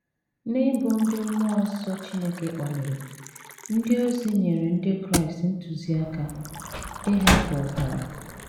N’ịbụ ndị mmụọ nsọ Chineke kpaliri, ndị ozi nyere ndị Kraịst ntụziaka ‘ ịhapụ ọbara. ’